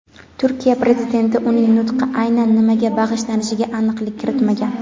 Turkiya Prezidenti uning nutqi aynan nimaga bag‘ishlanishiga aniqlik kiritmagan.